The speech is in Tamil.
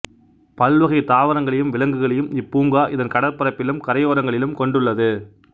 பல்வகை தாவரங்களையும் விலங்குகளையும் இப்பூங்கா இதன் கடற்பரப்பிலும் கரையோரங்களிலும் கொண்டுள்ளது